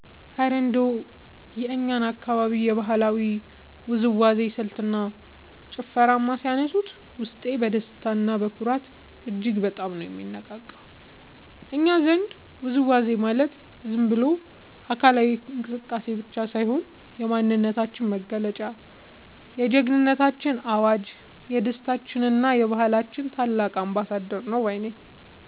እረ እንደው የእኛን አካባቢ የባህላዊ ውዝዋዜ ስልትና ጭፈርማ ሲያነሱት፣ ውስጤ በደስታና በኩራት እጅግ በጣም ነው የሚነቃቃው! እኛ ዘንድ ውዝዋዜ ማለት ዝም ብሎ አካላዊ እንቅስቃሴ ብቻ ሳይሆን፣ የማንነታችን መገለጫ፣ የጀግንነታችን አዋጅ፣ የደስታችንና የባህላችን ታላቅ አምባሳደር ነው ባይ ነኝ።